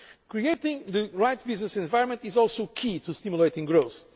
Creating the right business environment is also key to stimulating